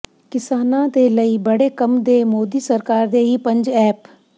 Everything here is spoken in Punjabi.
ਕਿਸਾਨਾਂ ਦੇ ਲਈ ਬੜੇ ਕੰਮ ਦੇ ਮੋਦੀ ਸਰਕਾਰ ਦੇ ਇਹ ਪੰਜ ਐਪ